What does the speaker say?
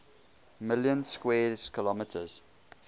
million square kilometres